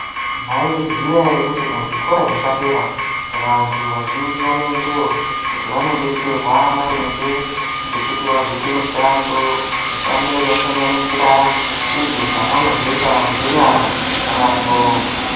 Maizviziya ere kuti muzvikora zvepadera vantu vazhinji vanoendeyo kuti vanodetserwa maringe ngekuti vazoite mishando mishando inosanganisira idzo dzavanozoita ngenyara dzavo.